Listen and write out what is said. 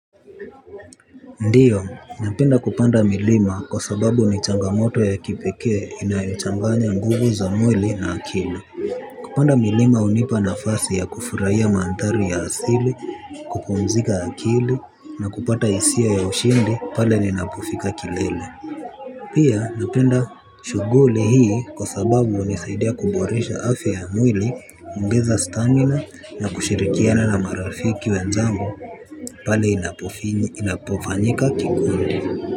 Ndio, napenda kupanda milima kwa sababu ni changamoto ya kipekee inayochanganya nguvu za mwili na akili. Kupanda milima hunipa nafasi ya kufurahia mandhari ya asili, kupumzika akili na kupata hisia ya ushindi pale ninapofika kilele. Pia napenda shughuli hii kwa sababu hunisaidia kuboresha afya ya mwili kuongeza stamina na kushirikiana na marafiki wenzangu pale inapofanyika kikundi.